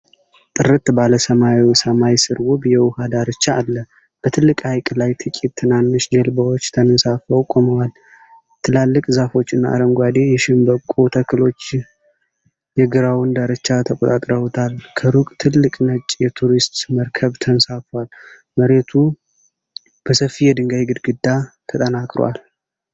ጥርት ባለ ሰማያዊ ሰማይ ስር ውብ የውሃ ዳርቻ አለ። በትልቁ ሐይቅ ላይ ጥቂት ትናንሽ ጀልባዎች ተንሳፈው ቆመዋል። ትላልቅ ዛፎች እና አረንጓዴ የሸምበቆ ተክሎች የግራውን ዳርቻ ተቆጣጥረውታል። ከሩቅ ትልቅ ነጭ የቱሪስት መርከብ ተንሳፍፎአል። መሬቱ በሰፊ የድንጋይ ግድግዳ ተጠናክሮአል።